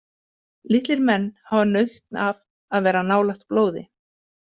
Litlir menn hafa nautn af að vera nálægt blóði.